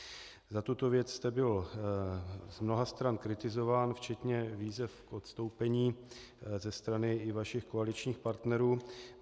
Za tuto věc jste byl z mnoha stran kritizován včetně výzev k odstoupení ze strany i vašich koaličních partnerů.